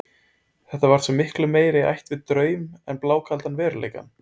Þetta var svo miklu meira í ætt við draum en blákaldan veruleikann.